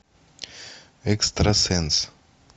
экстрасенс